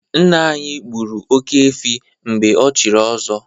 Nna anyị gburu oke-efi mgbe ochiri ọzọ.